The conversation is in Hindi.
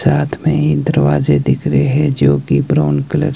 साथ में ही दरवाजे दिख रहे हैं जो कि ब्राउन कलर --